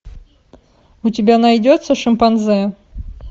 у тебя найдется шимпанзе